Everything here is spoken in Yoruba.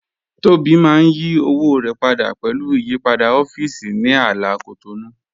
Tobi mà n yí òwò rẹ pádà pẹ̀lú ìyìpadà ọ̀fíìsì ní àlà Cotonou